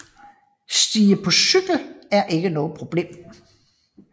Stige på cykel er ikke noget problem